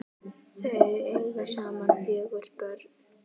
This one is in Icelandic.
Þau eiga saman fjögur börn.